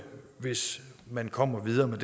hvis man kommer videre med